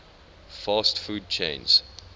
fast food chains